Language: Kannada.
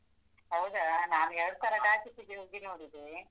ಹೌದಾ, ನಾನ್ ಎರ್ಡ್ ಸಲ takis ಗೆ ಹೋಗಿ ನೋಡಿದೆ.